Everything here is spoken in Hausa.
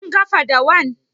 Kin ga fadawan?